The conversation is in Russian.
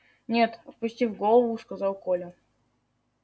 нет опустив голову сказал коля